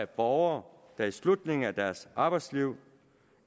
borgere der i slutningen af deres arbejdsliv